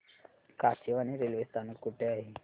Kachewani railway स्थानक कुठे आहे